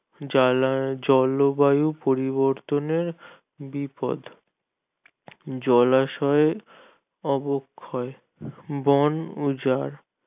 জলা জলবায়ু পরিবর্তনে বিপদ জলাশয়ে অবক্ষয় বন উজার